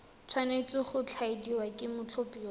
tshwanetse go tladiwa ke mothapiwa